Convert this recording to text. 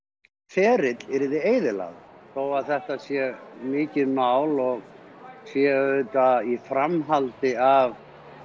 ferill yrði eyðilagður þótt þetta sé mikið mál og sé í framhaldi af